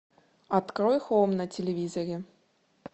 открой хоум на телевизоре